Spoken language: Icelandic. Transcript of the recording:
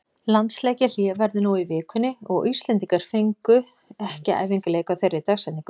Landsleikjahlé verður nú í vikunni og Íslendingar fengu ekki æfingaleik á þeirri dagsetningu.